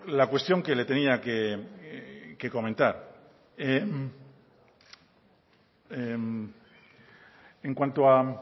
la cuestión que le tenía que comentar